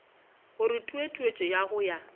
gore tutuetšo ya go ya